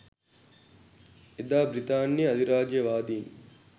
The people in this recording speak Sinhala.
එදා බ්‍රිතාන්‍ය අධිරාජ්‍යවාදීන්